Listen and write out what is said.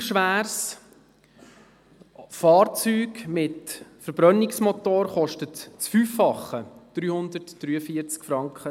Ein gleich schweres Fahrzeug mit einem Verbrennungsmotor kostet das Fünffache, nämlich 343,20 Franken.